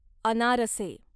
अनारसे